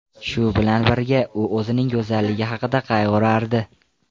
Shu bilan birga, u o‘zining go‘zalligi haqida qayg‘urardi.